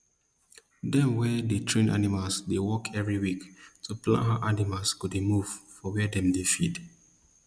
dem wey dey train animal dey meet every week to plan how animals go dey move for where dem dey feed